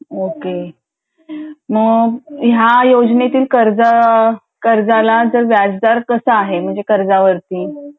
मग ह्या योजनेतील कर्ज कर्जाला व्याजदर कसं आहे? कर्जवरती